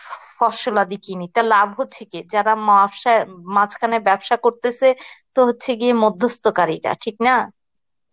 ফসলাদি কিনি তো লাভ হচ্ছে কি যারা মাঝখানে ব্যবসা করতেসে তো হচ্ছে গিয়ে মধ্যস্থকারীরা ঠিক না